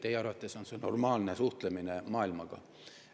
Teie arvates on see normaalne suhtlemine maailmaga.